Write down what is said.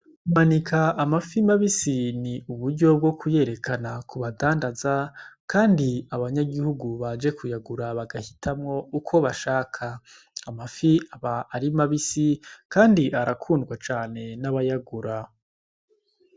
Kumanika amafi mabisi ni uburyo bwo kuyerekana ku badandaza, kandi abanyagihugu baje kuyagura bagahitamwo uko bashaka amafi aba arimabisi, kandi arakundwa cane n'abayagura.